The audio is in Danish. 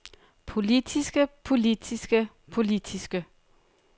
politiske politiske politiske